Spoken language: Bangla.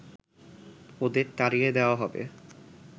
ওদের তাড়িয়ে দেওয়া হবে